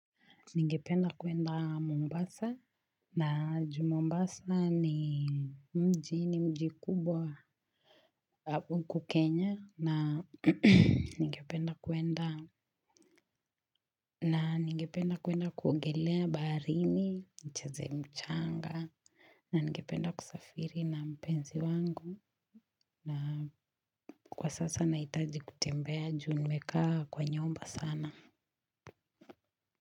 Ningependa kuenda Mombasa na juu mombasa ni mji ni mji mkubwa kenya na ningependa kuenda kuogelea barini, nicheze mchanga na ningependa kusafiri na mpenzi wangu na kwa sasa nahitaji kutembea juu nimekaa kwa nyumba sana.